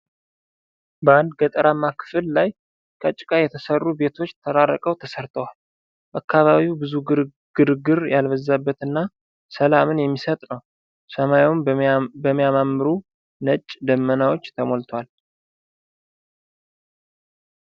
በአንድ ገጠራማ ክፍል ላይ ከጭቃ የተሰሩ ቤቶች ተራርቀው ተሰርተዋል። አካባቢው ብዙ ግርግር ያልበዛበት እና ሰላምን የሚሰጥ ነው። ሰማዩም በሚያማምሩ ነጭ ደመናዎች ተሞልቷል።